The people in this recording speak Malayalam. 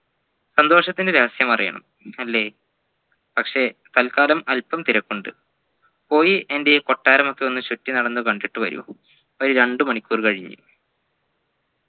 സന്തോഷത്തിൻെറ രഹസ്യം അറിയണം അല്ലേ പക്ഷെ തൽകാലം അല്പം തിരക്കുണ്ട് പോയി എൻെറ കൊട്ടാരമൊക്കെ ഒന്ന് ചുറ്റിനടന്നു കണ്ടിട്ട് വരൂ ഒരു രണ്ട് മണിക്കൂർ കഴിഞ്ഞ്